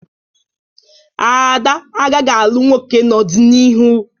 Ada agaghị alụ nwoke n'ọdịnihu.